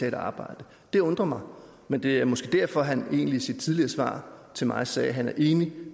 et arbejde det undrer mig men det er måske derfor at han i sit tidligere svar til mig sagde at han er enig